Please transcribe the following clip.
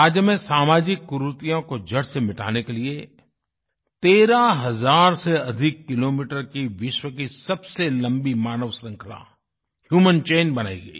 राज्य में सामाजिक कुरीतियों को जड़ से मिटाने के लिए 13 हज़ार से अधिक किलोमीटर की विश्व की सबसे लम्बी मानवश्रृंखला ह्यूमन चैन बनाई गयी